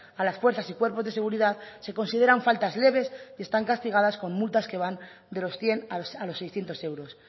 a las fuerzas y cuerpos de seguridad se consideran faltas leves y están castigadas con multas que van de los cien a los seiscientos euros